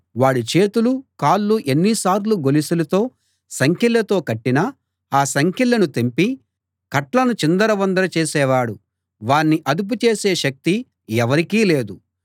వాడి చేతులు కాళ్ళు ఎన్నిసార్లు గొలుసులతో సంకెళ్ళతో కట్టినా ఆ సంకెళ్ళను తెంపి కట్లను చిందరవందర చేసే వాడు వాణ్ణి అదుపు చేసే శక్తి ఎవరికీ లేదు